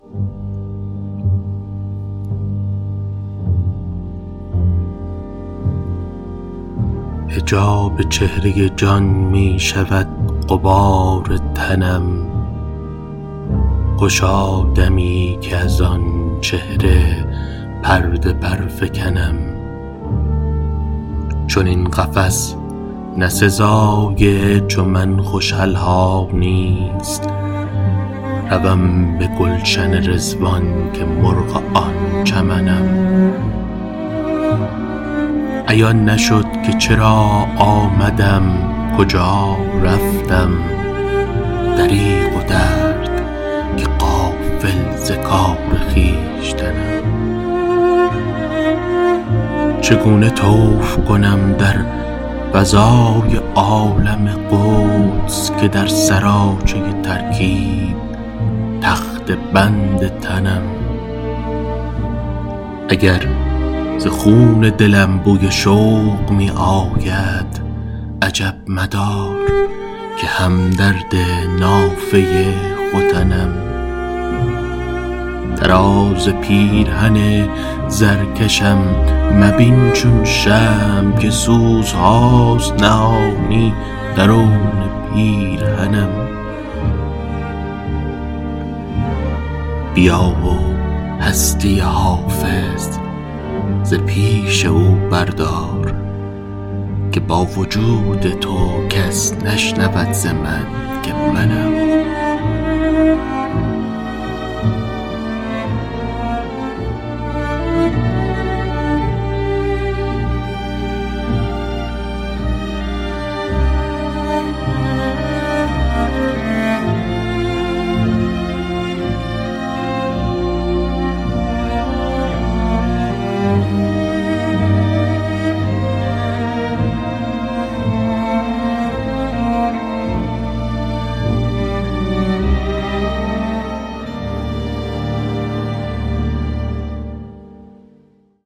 حجاب چهره جان می شود غبار تنم خوشا دمی که از آن چهره پرده برفکنم چنین قفس نه سزای چو من خوش الحانی ست روم به گلشن رضوان که مرغ آن چمنم عیان نشد که چرا آمدم کجا رفتم دریغ و درد که غافل ز کار خویشتنم چگونه طوف کنم در فضای عالم قدس که در سراچه ترکیب تخته بند تنم اگر ز خون دلم بوی شوق می آید عجب مدار که هم درد نافه ختنم طراز پیرهن زرکشم مبین چون شمع که سوزهاست نهانی درون پیرهنم بیا و هستی حافظ ز پیش او بردار که با وجود تو کس نشنود ز من که منم